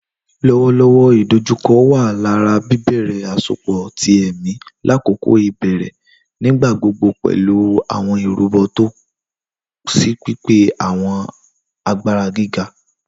Lọwọlọwọ idojukọ wa lori bibẹrẹ asopọ ti ẹmi lakoko ibẹrẹ, nigbagbogbo pẹlu awọn irubo si pipe awọn agbara giga.